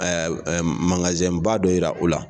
magazɛn ba dɔ yira u la.